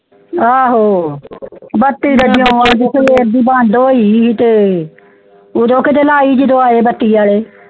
ਆਹੋ ਬੱਤੀ ਤੇ ਉਦੋਂ ਦੀ ਬੰਦ ਹੋਈ ਤੇ ਉਦੋਂ ਕੀੜੇ ਲਈ ਤੇ ਆਏ ਬੱਤੀ ਆਲੇ